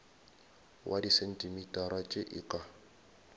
wa disentimetara tše e ka